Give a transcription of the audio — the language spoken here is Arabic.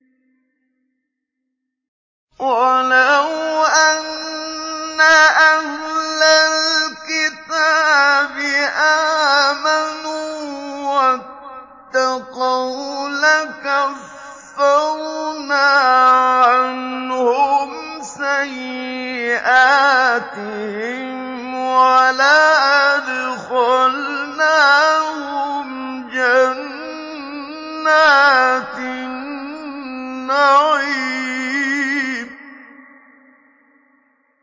وَلَوْ أَنَّ أَهْلَ الْكِتَابِ آمَنُوا وَاتَّقَوْا لَكَفَّرْنَا عَنْهُمْ سَيِّئَاتِهِمْ وَلَأَدْخَلْنَاهُمْ جَنَّاتِ النَّعِيمِ